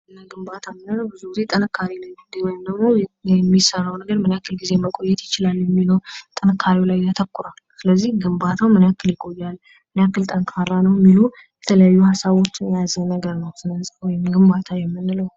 ግንባታ የምንለው ብዙ ጊዜ ጥንካሬ ላይ ውይም ደግሞ የሚሰራው ነገር ምን ያክል ጊዜ መቆየት ይችላል የሚለውን ጥንካተካሬው ላይ ያተኩራል። ስለዚህ ግንባታው ምን ያክል ይቆያል ምን ያክል ጠንካራ ነው የሚሉ የተለያዩ ሀሳቦችን የያዘ ነገር ነው። ስነ ህንጻ ወይም ግንባታ የምንለው።